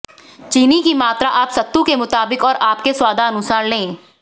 चीनी की मात्रा आप सत्तू के मुताबिक और आपके स्वादानुसार लें